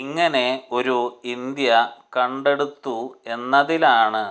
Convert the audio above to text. ഇങ്ങനെ ഒരു ഇന്ത്യ കണ്ടെടുത്തു എന്നതിനാലാണ്